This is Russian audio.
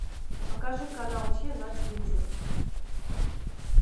покажи канал че на телевизоре